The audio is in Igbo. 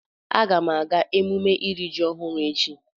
Aga m aga emume iri ji ọhụrụ echi.